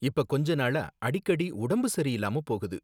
இப்ப கொஞ்ச நாளா அடிக்கடி உடம்பு சரியில்லாம போகுது